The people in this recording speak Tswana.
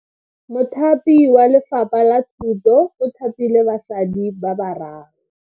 Mothapi wa Lefapha la Thuto o thapile basadi ba ba raro.